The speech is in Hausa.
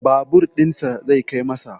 Babur ɗinsa zai kai masa